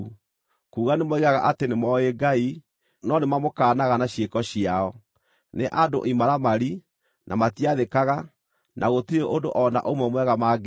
Kuuga nĩmoigaga atĩ nĩmooĩ Ngai, no nĩmamũkaanaga na ciĩko ciao. Nĩ andũ imaramari, na matiathĩkaga, na gũtirĩ ũndũ o na ũmwe mwega mangĩĩka.